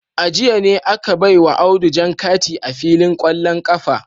A jiya ne aka baiwa Audu jan kati a filin kwallon kafa